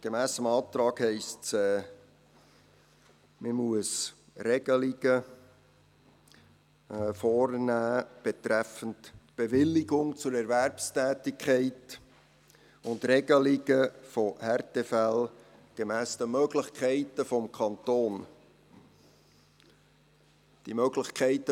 Gemäss dem Antrag heisst es, dass man Regelungen betreffend Bewilligung zur Erwerbstätigkeit und Regelungen von Härtefällen gemäss den Möglichkeiten des Kantons vornehmen muss.